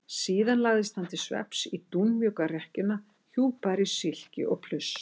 Síðan lagðist hann til svefns í dúnmjúka rekkjuna hjúpaður í silki og pluss.